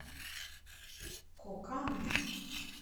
коканд